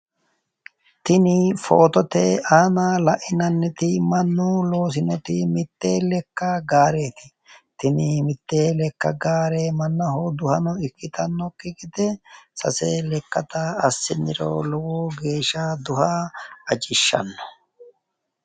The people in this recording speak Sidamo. tini footote aana lainanniti mannu loosinoti mitte lekka gaareeti tini mitte lekka gaare mannaho duhano ikkitannokki gede sase lekkata assiniro lowo geeshsha duhano ajishshanno.